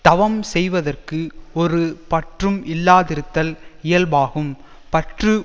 தவம் செய்தவற்கு ஒரு பற்றும் இல்லாதிருத்தல் இயல்பாகும் பற்று